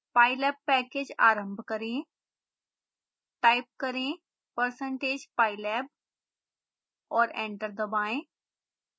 pylab package आरंभ करें type करें percentage pylab और एंटर दबाएं